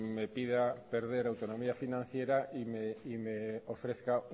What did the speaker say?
me pida perder autonomía financiera y me ofrezca